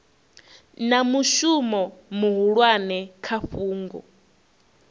na mushumo muhulwane kha fhungo